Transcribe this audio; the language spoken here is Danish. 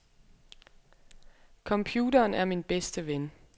Computeren er min bedste ven.